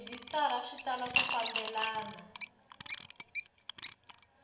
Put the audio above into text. rhejisitara swi tala ku fambelana